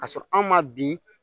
K'a sɔrɔ anw ma bin